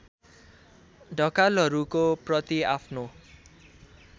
ढकालहरूको प्रति आफ्नो